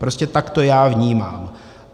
Prostě tak to já vnímám.